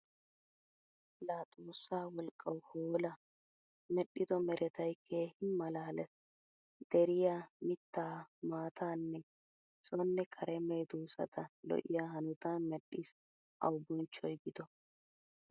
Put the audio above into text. Laa xoossaa wolqqawu hoola I medhdhido meretay keehin malaales. Deriya, mittaa, maattaanne sonne kare medoosata lo'iya hanotan medhdhis awu bonchchoy gido.